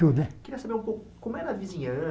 Tudo. Queria saber um pouco como era a